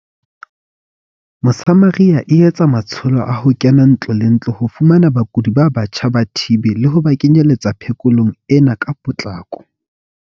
Mosamaria e etsa matsho lo a ho kena ntlo le ntlo ho fumana bakudi ba batjha ba TB le ho ba kenyeletsa phe kolong ena ka potlako.